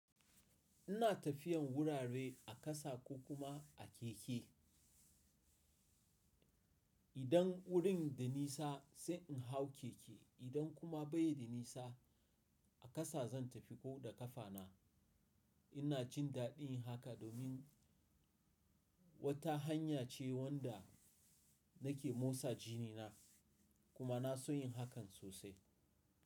Ina tafiyan wurare a ƙasa ko kuma a keke. Idan wurin da nisa sai in hau keke idan kuma bai da nisa a ƙasa zan tafi ko da ƙafa na. Ina jin daɗin haka domin wata hanya ce wadda nake motsa jini na kuma na so yin hakan sosai.